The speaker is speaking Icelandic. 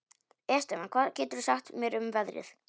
Estefan, hvað geturðu sagt mér um veðrið?